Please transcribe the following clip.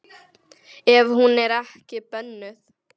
Ef hún er ekki bönnuð.